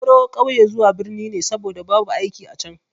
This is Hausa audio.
Na baro ƙauye zuwa birni ne saboda babu aiki a can.